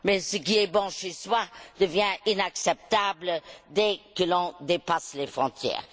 Mais, ce qui est bon chez soi devient inacceptable dès que l'on dépasse les frontières.